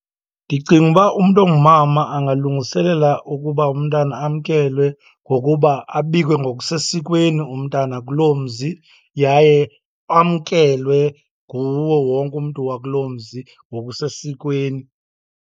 Ndicinga uba umntu ongumama angalungiselela ukuba umntana amkelwe ngokuba abikwe ngokusesikweni umntana kuloo mzi, yaye amkelwe nguwo wonke umntu wakuloo mzi ngokusesikweni.